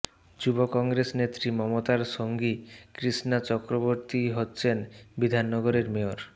যুব কংগ্রেস নেত্রী মমতার সঙ্গী কৃষ্ণা চক্রবর্তীই হচ্ছেন বিধাননগরের মেয়র